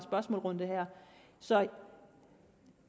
og svar runde her så